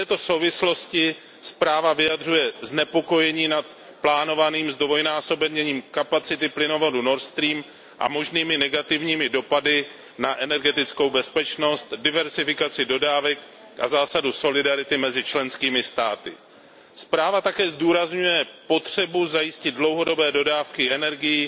V této souvislosti zpráva vyjadřuje znepokojení nad plánovaným zdvojnásobením kapacity plynovodu Nord Stream a možnými negativními dopady na energetickou bezpečnost, diverzifikaci dodávek a zásadu solidarity mezi členskými státy. Zpráva také zdůrazňuje potřebu zajistit dlouhodobé dodávky energií